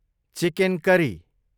chicken curry